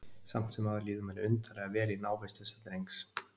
Samt sem áður líður manni undarlega vel í návist þessa drengs.